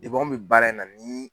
anw bɛ baara in na bi.